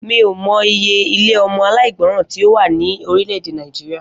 Mi ò mo̩ iye ilé o̩mo̩ aláìgbo̩ràn tí ó wà ní orílè̩-èdè Nàìjíríà